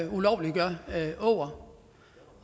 ulovliggør åger